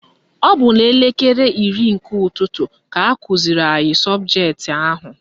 Ọ bụ n'elekere iri nke ụtụtụ ka akụziri anyị sọbụjetị ahụ.